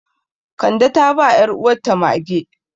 Kande ta ba 'yaruwarta mage.